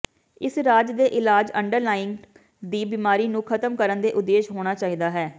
ਇਸ ਰਾਜ ਦੇ ਇਲਾਜ ਅੰਡਰਲਾਈੰਗ ਦੀ ਬਿਮਾਰੀ ਨੂੰ ਖਤਮ ਕਰਨ ਦੇ ਉਦੇਸ਼ ਹੋਣਾ ਚਾਹੀਦਾ ਹੈ